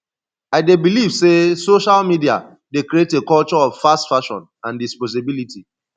i dey believe say social media dey create a culture of fast fashion and disposability